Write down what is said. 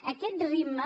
a aquest ritme